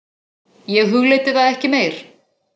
Ég hugleiddi það ekki meir.